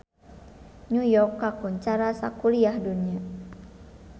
New York kakoncara sakuliah dunya